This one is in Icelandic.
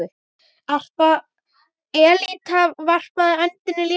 Elítan varpaði öndinni léttar.